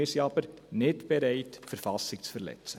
Wir sind aber nicht bereit, die KV zu verletzen.